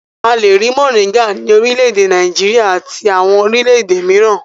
A le rí mòríngà ní orílẹ̀-èdè Nàìjíríà àti àwọn orílẹ̀-èdè mìíràn.